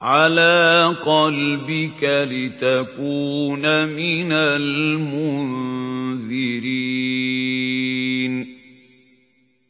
عَلَىٰ قَلْبِكَ لِتَكُونَ مِنَ الْمُنذِرِينَ